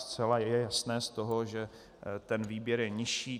Zcela je jasné z toho, že ten výběr je nižší.